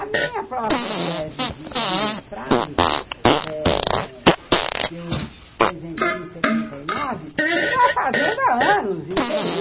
A minha própria tese de de mestrado, que eu apresentei em setenta e nove, eu estava fazendo há anos, entende?